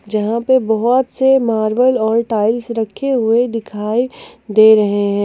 जहां पर बहोत से मार्बल और टाइल्स रखे हुए दिखाई दे रहे हैं।